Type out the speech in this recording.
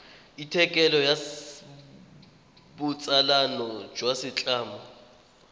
athikele ya botsalano jwa setlamo